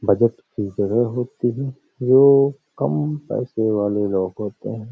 Budget होती है। जो कम पैसे वाले लोग होतें हैं --